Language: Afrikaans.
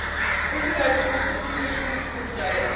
onderhoudkoste toerusting voertuie